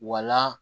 Wala